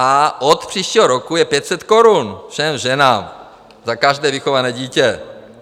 A od příštího roku je 500 korun všem ženám za každé vychované dítě.